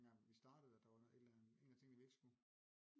Dengang vi startede at der var et eller andet at der var en af tingene vi ikke skulle